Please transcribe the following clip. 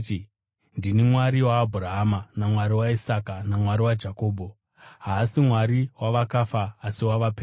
‘Ndini Mwari waAbhurahama naMwari waIsaka naMwari waJakobho’? Haasi Mwari wavakafa asi wavapenyu.”